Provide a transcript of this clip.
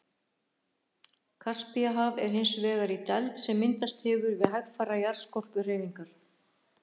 Kaspíahaf er hins vegar í dæld sem myndast hefur við hægfara jarðskorpuhreyfingar.